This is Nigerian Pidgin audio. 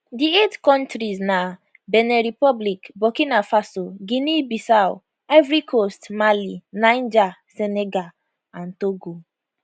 di eight kontris na benin republic burkina faso guineabissau ivory coast mali niger senegal and togo